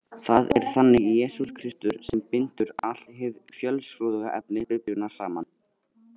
Það er þannig Jesús Kristur sem bindur allt hið fjölskrúðuga efni Biblíunnar saman.